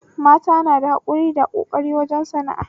Mata na da hakuri da ƙoƙari wajen sana'a